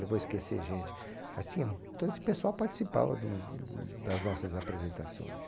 Eu vou esquecer gente, mas tinha todo esse pessoal participava do do das nossas apresentações.